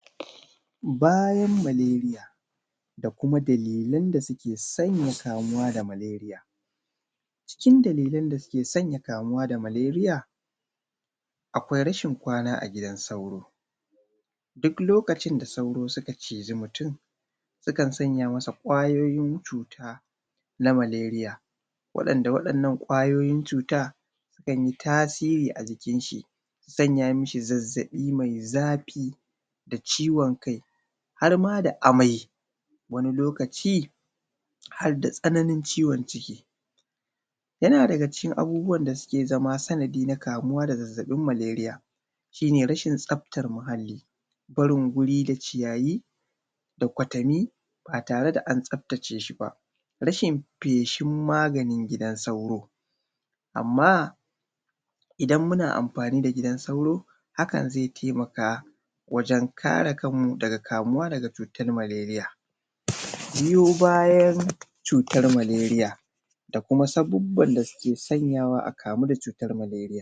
Bayan Maleria da Kuma dalilin da suke sanya kamuwa da maleria, cikin dalilan da suke sanya kamuwa da maleria akwai rashin kwana a gidan sauro duk lokacin da sauro suka ciji mutum sukan sanya masa kwayoyin cutar malaria waɗanda kwayoyin cuta sukan yi tasirin a jikin shi su sanya mi shi zazzaɓi mai zafi ciwon kai har ma da amai wani lokaci har da tsananin ciwon ciki. Yana daga cikin abubuwan da suke zama sanadi na kamuwa da cutar maleria yana daga ciki abubuwan da suka zama sanadi na kamawa da zazzabin maleria shi ne rashin tsaftar muhalli, barin guri da ciyayi da kwatanni ba tare da tsaftace shi ba rashin feshin maganin gidan sauro. Amma idan muna amfani da gidan sauro hakan zai taimaka wajen kare kanmu daga kamuwa daga cutar maleria biyo bayan cutar maleria da kuma sabubban da suke sanyawa a kamu da cutar maleria.